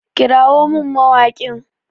Kirawo min mawaƙin!